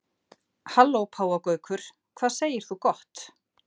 Halló páfagaukur, hvað segir þú gott?